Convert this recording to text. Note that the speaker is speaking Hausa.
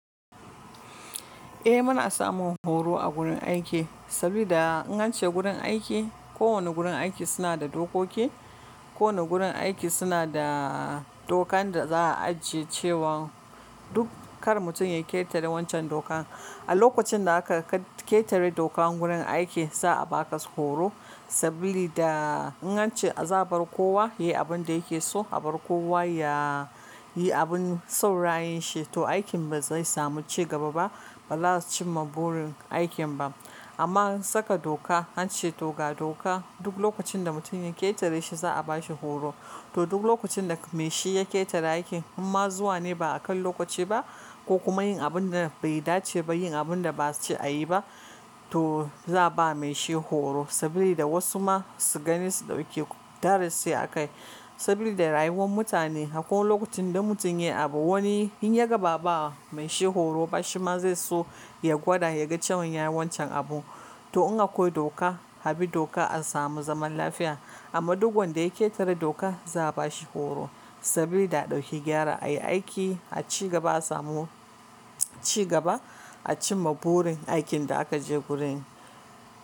Eh muna samun horo a gurin aiki, sabida in an ce gurin aiki, kowane gurin aiki suna da dokoki, kowane gurin aiki suna da, dokan da za a ajiye cewan, duk kar mutum ya ƙetare wancan dokan. A lokacin da aka ka ketare dokan gurin aiki, za a baka horo, sabili da in an ce za a bar kowa ya yi abin da yake so, a bar kowa ya yi abin son rayin shi to aikin ba zai samu cigaba ba, ba za su cimma burin aikin ba. Amma an saka doka, an ce to ga doka, duk lokacin da mutum ya ketare shi za a bashi horo. To duk lokacin da mai shi ya ketare aikin, imma zuwa ne ba akan lokaci ba, ko kuma yin abin da bai dace ba, yin abin da ba su ce a yi ba, to za a ba mai shi horo. Sabili da wasu ma su gani su ɗauki darasi akai. Sabili da da rayuwan mutane, akwai lokacin da in mutum ya yi abu, wani in ya ga ba'a ba mai shi horo ba, shi ma zai so ya gwada ya ga cewan ya yi wancan abu. To in akwai doka, abi doka a samu zaman lafiya, amma duk wanda ya ketare dok za a bashi horo, sabili da a ɗauki gyara, a yi aiki a cigaba a samu cigaba, a cimma burin aikin da aka je gurin.